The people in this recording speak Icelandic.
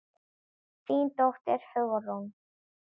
Þín dóttir, Hugrún.